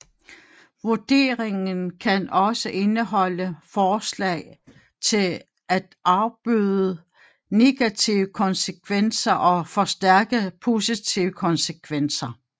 Vurderingen kan også indeholde forslag til at afbøde negative konsekvenser og forstærke positive konsekvenser